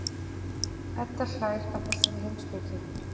Edda hlær að þessari heimspeki.